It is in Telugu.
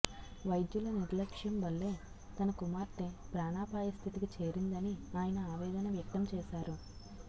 వైద్యుల నిర్లక్ష్యం వల్లే తనకుమార్తె ప్రాణాపాయస్థితికి చేరిందని ఆయన ఆవేదన వ్యక్తం చేసారు